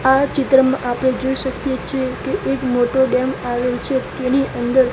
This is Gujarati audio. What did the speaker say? આ ચિત્રમાં આપડે જોઈ શકીએ છે કે એક મોટો ડેમ આવેલ છે તેની અંદર--